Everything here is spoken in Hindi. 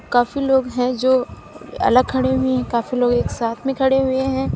काफी लोग हैं जो अलग खड़े हुए हैं काफ़ी लोग एक साथ में खड़े हुए हैं।